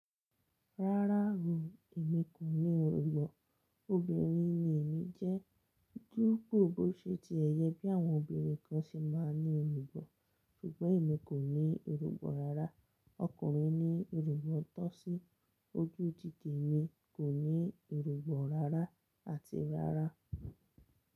Rárá o, èmi kò ní irugbọ̀n. Obìnrin ni èmi jẹ́, ju gbogbo ṣe ti ẹ̀ yẹ bí àwọn obìnrin kan ṣe máa ń ní irugbọ̀, ṣùgbọ́n èmi kò ní irugbọ̀ rárá. Ọkùnrin ní irugbọ̀ tọ́ sí ojú jíjẹ, èmi kò ní irugbọ̀ rárá àti rárá.